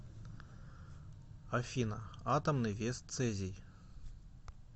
афина атомный вес цезий